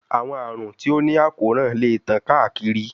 Awọn arun ti o ni akoran le tan kaakiri